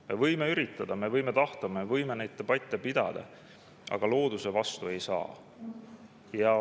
Me võime üritada, me võime tahta, me võime neid debatte pidada, aga looduse vastu ei saa.